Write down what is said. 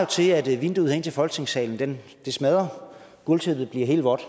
til at vinduet ind til folketingssalen smadrer og gulvtæppet bliver helt vådt